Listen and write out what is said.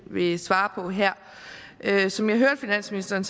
vil svare på her her som jeg hørte finansministeren